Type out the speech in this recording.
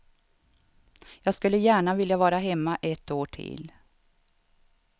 Jag skulle gärna vilja vara hemma ett år till.